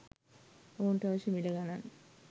ඔවුන්ට අවශ්‍ය මිල ගණන්